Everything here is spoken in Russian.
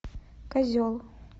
козел